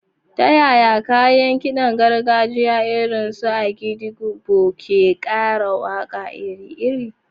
Ta yaya kayan kidan gargajiya irin su agidigbo ke kara waka iri-iri?